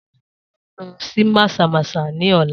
Sola máa lọ sí Mazamaza ní ọ̀la